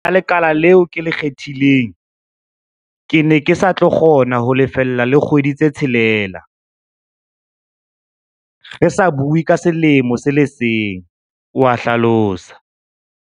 Bakeng sa le kala leo ke le kgethileng, ke ne ke sa tlo kgona ho lefella le kgwedi-tshelela, re sa bue ka selemo se le seng, o a hlalosa.